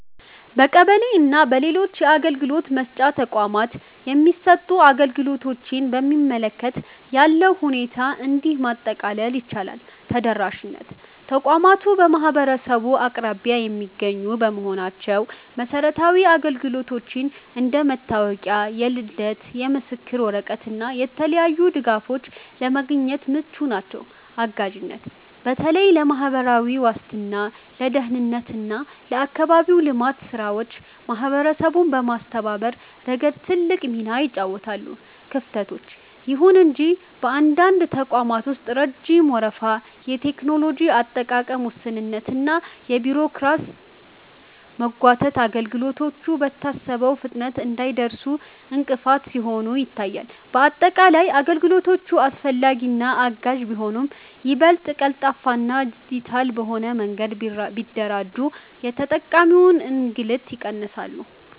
በቀበሌ እና በሌሎች የአገልግሎት መስጫ ተቋማት የሚሰጡ አገልግሎቶችን በሚመለከት ያለውን ሁኔታ እንዲህ ማጠቃለል ይቻላል፦ ተደራሽነት፦ ተቋማቱ በማህበረሰቡ አቅራቢያ የሚገኙ በመሆናቸው መሰረታዊ አገልግሎቶችን (እንደ መታወቂያ፣ የልደት ምስክር ወረቀት እና የተለያዩ ድጋፎች) ለማግኘት ምቹ ናቸው። አጋዥነት፦ በተለይ ለማህበራዊ ዋስትና፣ ለደህንነት እና ለአካባቢያዊ ልማት ስራዎች ማህበረሰቡን በማስተባበር ረገድ ትልቅ ሚና ይጫወታሉ። ክፍተቶች፦ ይሁን እንጂ በአንዳንድ ተቋማት ውስጥ ረጅም ወረፋ፣ የቴክኖሎጂ አጠቃቀም ውስንነት እና የቢሮክራሲ መጓተት አገልግሎቱ በታሰበው ፍጥነት እንዳይደርስ እንቅፋት ሲሆኑ ይታያሉ። ባጠቃላይ፣ አገልግሎቶቹ አስፈላጊና አጋዥ ቢሆኑም፣ ይበልጥ ቀልጣፋና ዲጂታል በሆነ መንገድ ቢደራጁ የተጠቃሚውን እንግልት ይቀንሳሉ።